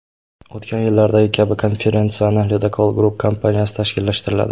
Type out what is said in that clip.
O‘tgan yillardagi kabi, konferensiyani Ledokol Group kompaniyasi tashkillashtiradi.